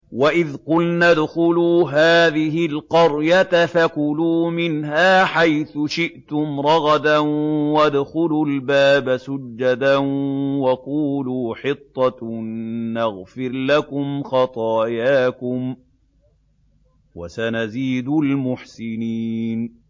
وَإِذْ قُلْنَا ادْخُلُوا هَٰذِهِ الْقَرْيَةَ فَكُلُوا مِنْهَا حَيْثُ شِئْتُمْ رَغَدًا وَادْخُلُوا الْبَابَ سُجَّدًا وَقُولُوا حِطَّةٌ نَّغْفِرْ لَكُمْ خَطَايَاكُمْ ۚ وَسَنَزِيدُ الْمُحْسِنِينَ